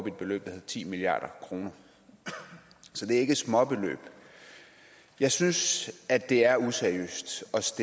et beløb der hed ti milliard kr så det er ikke småbeløb jeg synes det er useriøst